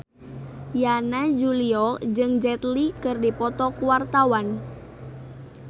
Yana Julio jeung Jet Li keur dipoto ku wartawan